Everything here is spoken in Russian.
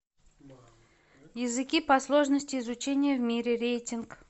языки по сложности изучения в мире рейтинг